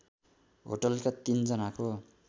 होटलका ३ जनाको